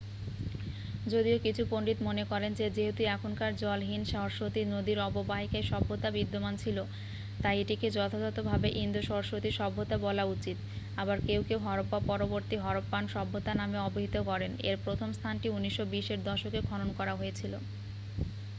যদিও কিছু পণ্ডিত মনে করেন যে যেহেতু এখনকার জলহীন সরস্বতী নদীর অববাহিকায় সভ্যতা বিদ্যমান ছিল তাই এটিকে যথাযথভাবে ইন্দো-সরস্বতী সভ্যতা বলা উচিত আবার কেউ কেউ হরপ্পা পরবর্তী হরপ্পান সভ্যতা নামে অবিহিত করেন এর প্রথম স্থানটি 1920 এর দশকে খনন করা হয়েছিল